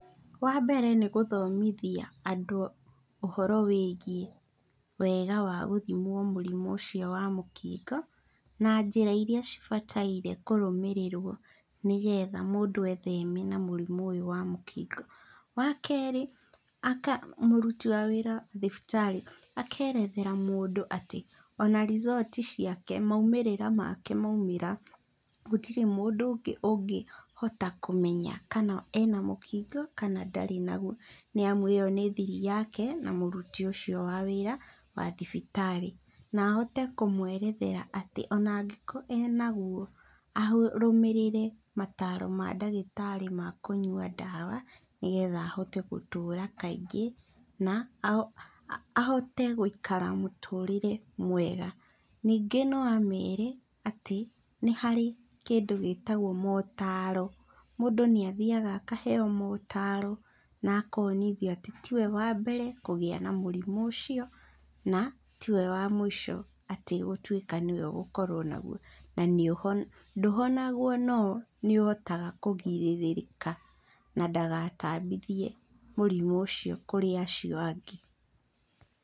Wambere nĩ gũthomithia andũ ũhoro wĩgiĩ wega wa gũthimwo mũrimũ ũcio wa mũkingo, na njĩra iria cibataire kũrũmĩrĩrwo nĩgetha mũndũ etheme na mũrimũ ũyũ wa mũkingo. Wa kerĩ, mũruti wa wĩra thibitarĩ akerethera mũndũ atĩ ona result ciake, maumĩrĩra make maumĩra, gũtirĩ mũndũ ũngĩ ũngĩhota kũmenya kana ena mũkingo kana ndarĩ naguo nĩ amu ĩyo nĩ thiri yake na mũruti ũcio wa wĩra wa thibitarĩ. Na ahote kũmwerethera atĩ ona angĩkorwo ena guo, arũmĩrĩre mataaro ma ndagĩtarĩ ma kũnyua ndawa, nĩgetha ahote gũtũra kaingĩ, na ahote gũikara mũtũrire mwega. Ningĩ no ameere atĩ, nĩ harĩ kĩndũ gĩtagwo motaro. Mũndũ naĩthiaga akaheo motaro na akonithio atĩ tiwe wa mbere kũgĩa na mũrimũ ũcio, na tiwe wa mũico atĩ gũtuĩka nĩwe ũgũkorwo naguo. Na ndũhonagwo no nĩũhotaga kũgirĩrĩka na ndagatambithie mũrimũ ũcio kũrĩ acio angĩ.